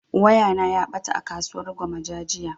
Waya na ya ɓata a kasuwar gwammaja jiya